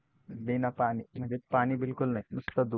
बिना पाणी म्हणजे पाणी बिलकुल नाही नुसतं दूध.